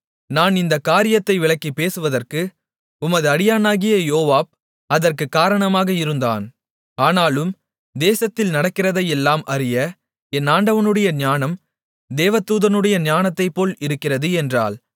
நான் இந்தக் காரியத்தை விளக்கிப் பேசுவதற்கு உமது அடியானாகிய யோவாப் அதற்குக் காரணமாக இருந்தான் ஆனாலும் தேசத்தில் நடக்கிறதையெல்லாம் அறிய என் ஆண்டவனுடைய ஞானம் தேவதூதனுடைய ஞானத்தைப்போல் இருக்கிறது என்றாள்